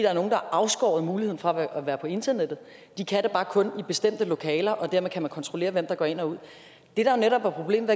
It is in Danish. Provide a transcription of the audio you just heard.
afskåret fra muligheden for at være på internettet de kan bare kun være det i bestemte lokaler og dermed kan man kontrollere hvem der går ind og ud det der netop er problemet